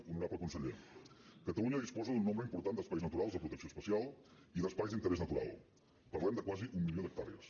honorable conseller catalunya disposa d’un nombre important d’espais naturals de protecció especial i d’espais d’interès natural parlem de quasi un milió d’hectàrees